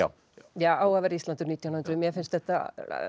ja á að vera Ísland um nítján hundruð mér finnst þetta